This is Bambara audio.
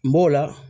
N b'o la